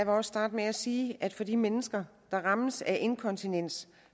også starte med at sige at for de mennesker der rammes af inkontinens